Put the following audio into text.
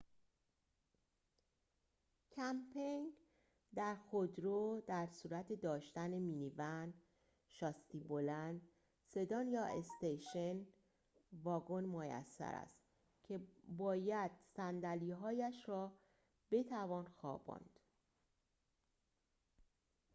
کمپینگ در خودرو در صورت داشتن مینی‌ون شاسی‌بلند سدان یا استیشن واگن میسر است که باید صندلی‌هاییش را بتوان خواباند